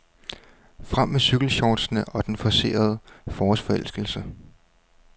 Frem med cykelshortsene og den forcerede forårsforelskelse.